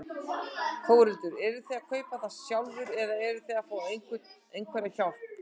Þórhildur: Eruð þið að kaupa það sjálfur eða eruð þið að fá einhverja hjálp?